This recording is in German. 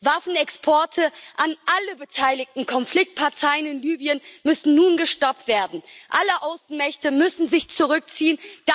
Waffenexporte an alle beteiligten Konfliktparteien in Libyen müssen nun gestoppt werden, alle Außenmächte müssen sich zurückziehen.